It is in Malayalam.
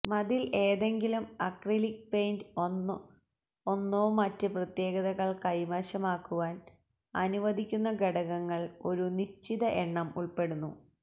മതിൽ ഏതെങ്കിലും അക്രിലിക് പെയിന്റ് ഒന്നോ മറ്റ് പ്രത്യേകതകൾ കൈവശമാക്കുവാൻ അനുവദിക്കുന്ന ഘടകങ്ങൾ ഒരു നിശ്ചിത എണ്ണം ഉൾപ്പെടുന്നു